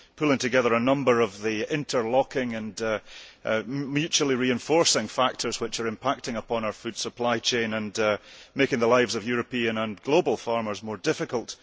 It pulls together a number of the interlocking and mutually reinforcing factors which are impacting on our food supply chain and making the lives of European and global farmers more difficult.